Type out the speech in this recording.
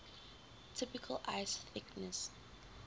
typical ice thickness